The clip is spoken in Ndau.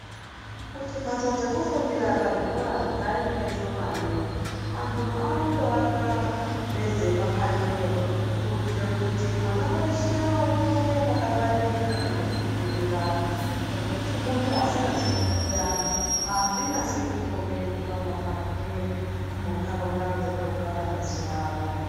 Kuti mbatso dzekufundira pazvikora dzaite shomani vanotoaka nedzemapanxeyo kuitire kuti mwana weshe aone pakangwaririka pekufundira ngekuti muntu asingazi kufunda hazvinasi kukombe kukwana kwake muntaraunda dzatogara mazuvano.